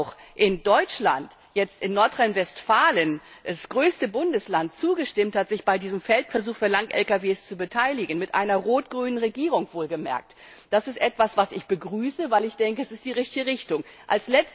B. auch in Deutschland Nordrhein Westfalen, das größte Bundesland, zugestimmt hat, sich bei diesem Feldversuch für lange Lkws zu beteiligen mit einer rot grünen Regierung wohlgemerkt das ist etwas, was ich begrüße, weil ich denke, dass das die richtige Richtung